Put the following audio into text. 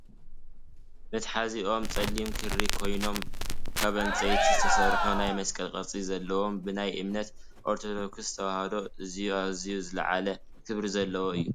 መትሓዚኦም ፀሊም ክሪ ኮይኖም ካብ ዕንፀይቲ ዝተሰርሑ ናይ መስቀል ቅርፂ ዘለዎም ብናይ እምነት ኦርተዶክስ ተዋህዶ ኣዝዩ! ኣዝዩ ! ዝለዓለ ክብሪ ዘለዎ እዩ